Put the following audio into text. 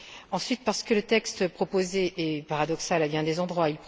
Ensuite, parce que le texte proposé est paradoxal à bien des endroits.